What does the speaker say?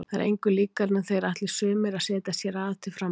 Það er engu líkara en þeir ætli sumir að setjast hér að til frambúðar.